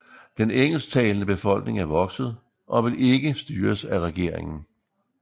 Den engelsktalende befolkning er vokset og vil ikke styres af regeringen